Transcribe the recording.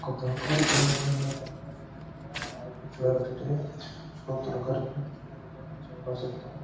ತರಕಾರಿ ಥಿನ್ನಿಂದು ತಿಂದು ಥಿನಿದ್ರೆ ಆರೋಗ್ಯ ಚಲೋ ಇರ್ತತೇ ರೀ ಚಲೋ ತರಕಾರಿ ತಿಂದ್ರೆ ಚಲೋ ವಿಟಮಿನ್ ಎಲ್ಲ ಸಿಕ್ತವು.